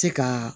Se ka